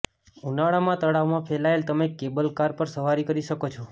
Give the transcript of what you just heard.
ઉનાળામાં તળાવમાં ફેલાયેલા તમે કેબલ કાર પર સવારી કરી શકો છો